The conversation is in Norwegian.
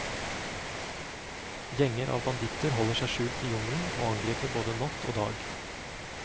Gjenger av banditter holder seg skjult i jungelen og angriper både natt og dag.